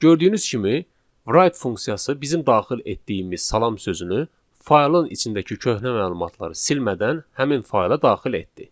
Gördüyünüz kimi write funksiyası bizim daxil etdiyimiz salam sözünü faylın içindəki köhnə məlumatları silmədən həmin fayla daxil etdi.